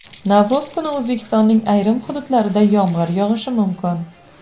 Navro‘z kuni O‘zbekistonning ayrim hududlarida yomg‘ir yog‘ishi mumkin.